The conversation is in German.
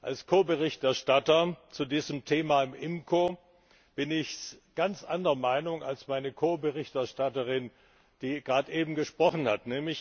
Als Ko Berichterstatter zu diesem Thema im IMCO bin ich ganz anderer Meinung als meine Ko Berichterstatterin, die gerade eben gesprochen hat.